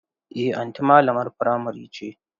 Eh anti malamar primary ce.